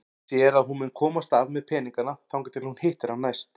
Hún sér að hún mun komast af með peningana þangað til hún hittir hann næst.